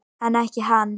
En ekki hann.